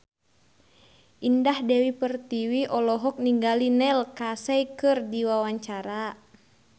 Indah Dewi Pertiwi olohok ningali Neil Casey keur diwawancara